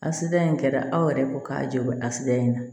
Asidiya in kɛra aw yɛrɛ ko k'a jɔ a sira in na